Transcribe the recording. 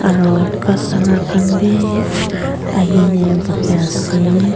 aro customer khan b ahina buhi ase.